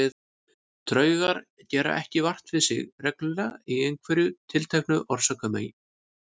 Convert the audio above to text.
Draugar gera ekki vart við sig reglulega í einhverju tilteknu orsakasamhengi.